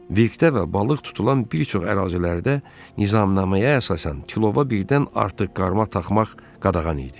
Vikdə və balıq tutulan bir çox ərazilərdə nizamnaməyə əsasən kilova birdən artıq qarmaq taxmaq qadağan idi.